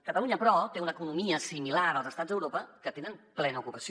catalunya però té una economia similar als estats d’europa que tenen plena ocupació